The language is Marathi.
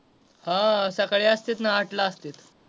हा सकाळी असत्यात ना आठ ला असतात.